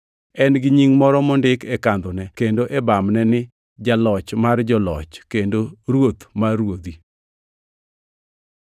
En gi nying moro mondik e kandhone kendo e bamne ni: Jaloch mar joloch kendo Ruoth mar ruodhi.